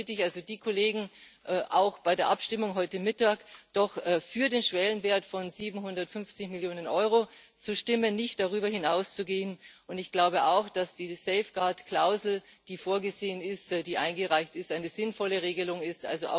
Deshalb bitte ich also die Kollegen, auch bei der Abstimmung heute Mittag doch für den Schwellenwert von 750 Millionen Euro zu stimmen, nicht darüber hinauszugehen. Und ich glaube auch, dass diese Schutzklausel, die vorgesehen ist, die eingereicht ist, eine sinnvolle Regelung ist.